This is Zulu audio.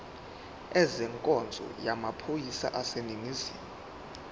ezenkonzo yamaphoyisa aseningizimu